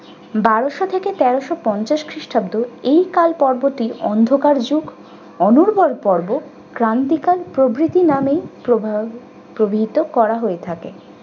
বারশো থেকে তেরশো পঞ্চাশ খ্রিষ্টাব্দ এই কাল পর্বটি অন্ধকার যুগ অনরবল পর্ব ক্রান্তিকাল প্রভৃতি নামে প্রভা~ প্রভৃত করা হয়ে থাকে।